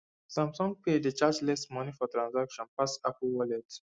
samsung pay dey charge less money for transactions pass apple wallet